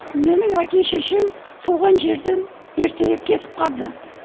менің әке шешем туған жерден ертерек кетіп қалды